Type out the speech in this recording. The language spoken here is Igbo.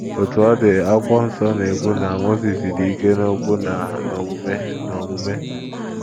Otú ọ dị, akwụkwọ nsọ na - ekwu na Mozis “ dị ike n’okwu na n’omume n’omume. ”